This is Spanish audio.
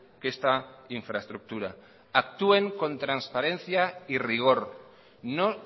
que esta infraestructura actúen con transparencia y rigor no